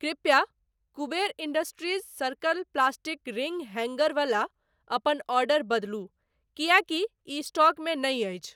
कृपया Kuber industries circle plastic ring hanger वला अपन ऑर्डर बदलू किएकि इ स्टॉक मे नहि अछि।